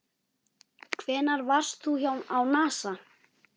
Hvenær varst þú á NASA?